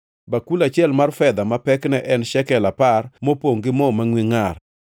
bakul achiel mar dhahabu ma pekne en shekel apar, mopongʼ gi mo mangʼwe ngʼar;